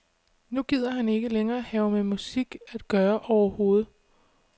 Nu gider han ikke længere have med musik at gøre overhovedet.